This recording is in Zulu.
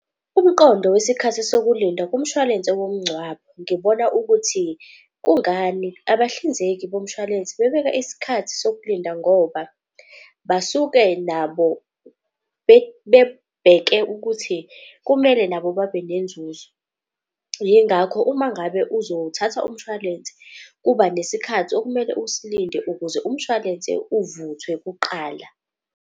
Umqondo wesikhathi sokulinda kumshwalense womngcwabo, ngibona ukuthi kungani abahlinzeki bomshwalense bebeka isikhathi sokulinda. Ngoba basuke nabo bebheke ukuthi kumele nabo babe nenzuzo. Yingakho uma ngabe uzothatha umshwalense kuba nesikhathi okumele usilinde, ukuze umshwalense uvuthwe kuqala.